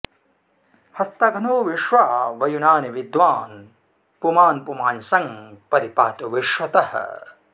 हस्तघ्नो विश्वा वयुनानि विद्वान् पुमान् पुमा ँ सं परि पातु विश्वतः